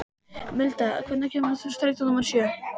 Milda, hvenær kemur strætó númer sjö?